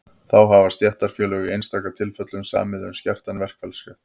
þá hafa stéttarfélög í einstaka tilfellum samið um skertan verkfallsrétt